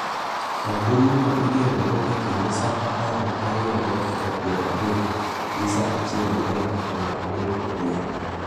Ombuluno igeno go e kind saa apar gi ariyo gi dakika piero adek gi saa achiel gi dakika piero adek odhiambo.